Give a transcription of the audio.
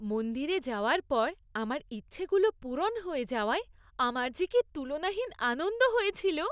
মন্দিরে যাওয়ার পর আমার ইচ্ছাগুলো পূরণ হয়ে যাওয়ায় আমার যে কী তুলনাহীন আনন্দ হয়েছিল!